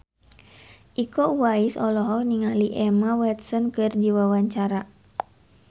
Iko Uwais olohok ningali Emma Watson keur diwawancara